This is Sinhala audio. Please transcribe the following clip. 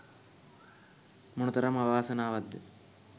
මොනතරම් අවාසනාවක්ද?